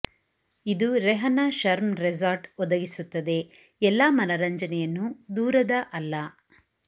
ಇದು ರೆಹನ ಶರ್ಮ್ ರೆಸಾರ್ಟ್ ಒದಗಿಸುತ್ತದೆ ಎಲ್ಲಾ ಮನರಂಜನೆಯನ್ನು ದೂರದ ಅಲ್ಲ